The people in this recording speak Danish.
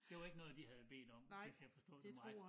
Det var ikke noget de havde bedt om hvis jeg forstod dem ret